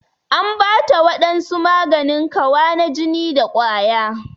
An Bata wadansu maganin Kawa na jini da kwaya.